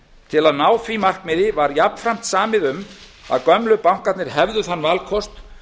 til að ná því markmiði var jafnframt samið um að gömlu bankarnir hefðu þann valkost